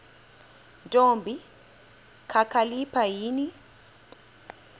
ntombi kakhalipha yini